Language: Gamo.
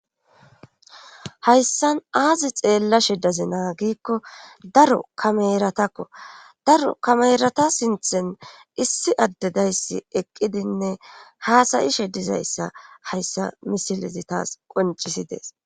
hayssan aazi xeella shedazi naa giikko daro kameratakko daro kamerata sinthen issi addedayssi eqqidinne haasayishe dizayssa hayssa misilezi taas qoncisidees